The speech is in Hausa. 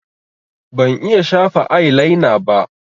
Ban iya shafa ailaina ba